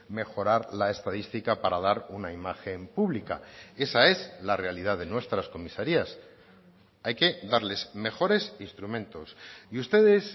mejorar la estadística para dar una imagen pública esa es la realidad de nuestras comisarías hay que darles mejores instrumentos y ustedes